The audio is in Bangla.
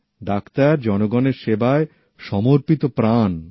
ডাক্তার জনগণের সেবায় সমর্পিত প্রাণ